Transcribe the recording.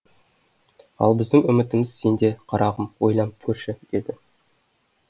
ал біздің үмітіміз сенде қарағым ойланып көрші деді